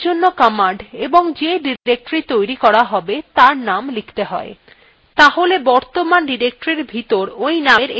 এরজন্য command এবং যে directory তৈরী করা have তার name লিখতে you তাহলে বর্তমান directoryএর ভিতর you নামের একটি directory তৈরী হয়ে যাবে